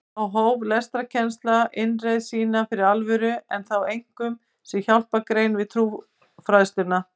Þá hóf lestrarkennsla innreið sína fyrir alvöru en þá einkum sem hjálpargrein við trúfræðsluna.